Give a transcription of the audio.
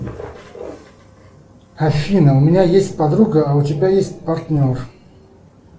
афина у меня есть подруга а у тебя есть партнер